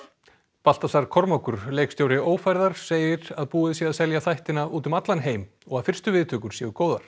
Baltasar Kormákur leikstjóri ófærðar segir að búið sé að selja þættina úti um allan heim og að fyrstu viðtökur séu góðar